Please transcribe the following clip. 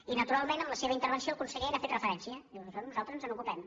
i naturalment en la seva intervenció el conseller n’ha fet referència diu d’això nosaltres ens n’ocupem